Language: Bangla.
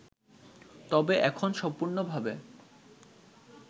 তবে এখন সম্পূর্ণভাবে